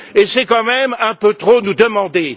C'est quand même un peu trop nous demander.